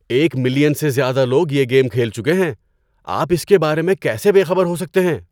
ایک ملین سے زیادہ لوگ یہ گیم کھیل چکے ہیں۔ آپ اس کے بارے میں کیسے بے خبر ہو سکتے ہیں؟